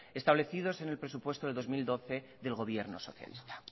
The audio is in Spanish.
establecidos en el presupuesto del dos mil doce del gobierno socialista